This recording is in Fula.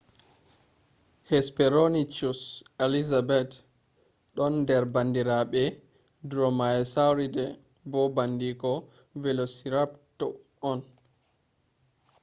hesperonychus elizabethae don nder bandirabe dromaeosauridae bo bandiko velociraptor on